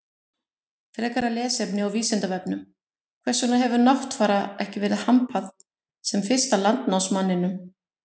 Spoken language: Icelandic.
Frekara lesefni á Vísindavefnum: Hvers vegna hefur Náttfara ekki verið hampað sem fyrsta landnámsmanninum?